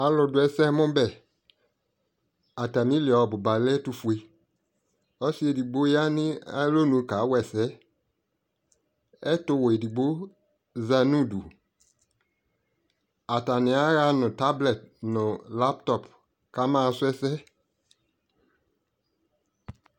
Alʋ dʋ ɛsɛmʋbɛ Atamilι ɔbuba lɛ ofue Ɔsi edigbo ya nʋ alonʋ kawa ɛsɛ Ɛtuwɛ edigbo za nʋ udu Ata nι ayaɣa nʋ tablɛt nʋ labtɔp kamaɣasu ɛsɛ